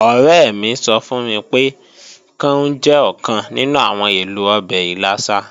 Ọ̀rẹ́ mi sọ fún mi pé, káún jẹ́ ọ̀kan nínú àwọn èlò ọbẹ̀ ìlàsà